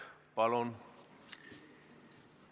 Palun!